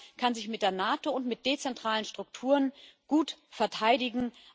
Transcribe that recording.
Europa kann sich mit der NATO und mit dezentralen Strukturen gut verteidigen.